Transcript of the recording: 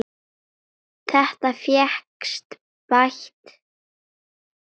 Þetta fékkst bætt.